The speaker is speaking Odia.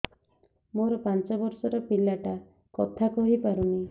ମୋର ପାଞ୍ଚ ଵର୍ଷ ର ପିଲା ଟା କଥା କହି ପାରୁନି